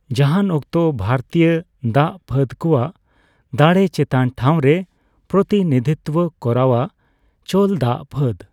ᱞᱟᱦᱟᱱᱚᱠᱛᱚ ᱵᱷᱟᱨᱛᱤᱭ ᱫᱟᱜ ᱯᱷᱟᱹᱫᱠᱚᱭᱟᱜ ᱫᱟᱲᱮ ᱪᱮᱛᱟᱱᱴᱷᱟᱣᱨᱮᱭ ᱯᱨᱚᱛᱤᱱᱤᱫᱷᱤᱛᱵ ᱠᱚᱨᱟᱣ ᱟ ᱪᱳᱞ ᱫᱟᱜ ᱯᱷᱟᱹᱫ᱾